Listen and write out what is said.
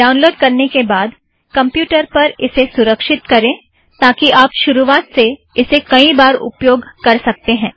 download करने के बाद कमप्युटर पर उसे सुरक्षित करें ताकि आप शुरुआत में इसे कई बार उपयोग कर सकते हैं